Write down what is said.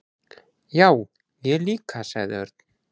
"""Já, ég líka sagði Örn."""